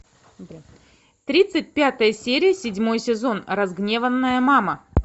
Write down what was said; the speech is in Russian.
тридцать пятая серия седьмой сезон разгневанная мама